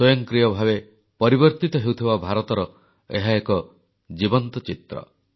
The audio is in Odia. ସ୍ୱୟଂକ୍ରିୟ ଭାବେ ପରିବର୍ତ୍ତିତ ହେଉଥିବା ଭାରତର ଏହା ଏକ ଜୀବନ୍ତ ଚିତ୍ର